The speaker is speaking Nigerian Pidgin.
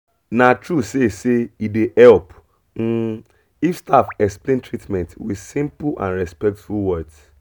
na true say say e dey help um if staff explain treatment with simple and respectful words